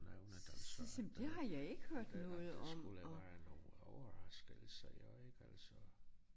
Nævnet altså men men at at det skulle være en overraskelse jo ik altså